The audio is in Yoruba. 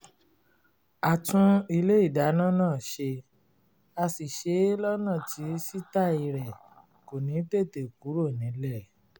a tún ilé ìdáná náà ṣe a sì ṣe é lọ́nà tí sítàì rẹ̀ kò ní tètè kúrò nílẹ̀